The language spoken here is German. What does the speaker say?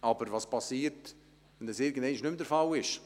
Aber was passiert, wenn das irgendeinmal nicht mehr möglich ist?